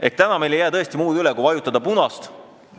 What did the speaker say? Ehk täna ei jää meil tõesti üle muud kui vajutada punast nuppu.